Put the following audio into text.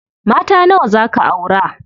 Mata nawa zaa ka aura?